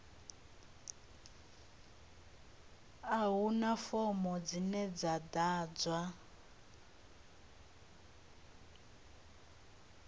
a huna fomo dzine dza ḓadzwa